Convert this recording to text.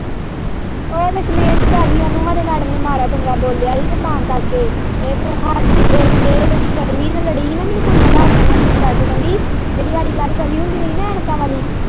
ਓ ਦਸ਼ਮੇਸ ਪੈ ਗਈ ਉਹਨੂੰ ਖਰੇ ਮੈਡਮ ਨੇ ਮਾੜਾ-ਚੰਗਾ ਬੋਲਿਆ ਹੀ ਤਾਂ ਕਰਕੇ ਇਹ ਫੇਰ ਹਾਡੀ ਇਹ ਛਵੀ ਨਾ ਲੜੀ ਹੀ ਨਾ ਮੈਨੂੰ ਕੁੜੀਆਂ ਦੱਸਦੀਆਂ ਹੀ ਫੋਨ ਕਰਕੇ ਕਹਿੰਦੀ ਜਿਹੜੀ ਹਾਡੀ ਕਲਾਸ ਚ ਛਵੀ ਹੁੰਦੀ ਰਹੀ ਨਾ ਐਨਕਾਂ ਵਾਲ਼ੀ।